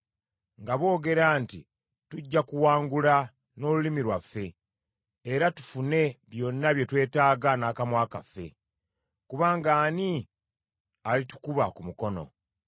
nga boogera nti, “Tujja kuwangula n’olulimi lwaffe, era tufune byonna bye twetaaga n’akamwa kaffe, kubanga ani alitukuba ku mukono.”